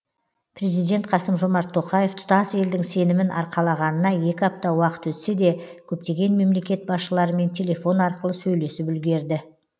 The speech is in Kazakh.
президент қасым жомарт тоқаев тұтас елдің сенімін арқалағанына екі апта уақыт өтсе де көптеген мемлекет басшыларымен телефон арқылы сөйлесіп үлгерді